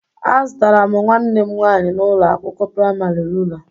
Azụtara m nwanne m nwaanyi n'ụlọ akwụkwọ praịmarị rula